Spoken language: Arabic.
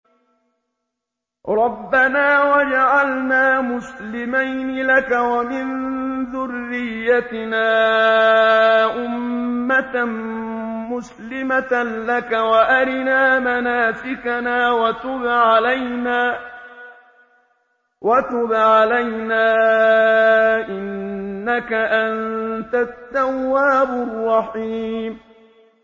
رَبَّنَا وَاجْعَلْنَا مُسْلِمَيْنِ لَكَ وَمِن ذُرِّيَّتِنَا أُمَّةً مُّسْلِمَةً لَّكَ وَأَرِنَا مَنَاسِكَنَا وَتُبْ عَلَيْنَا ۖ إِنَّكَ أَنتَ التَّوَّابُ الرَّحِيمُ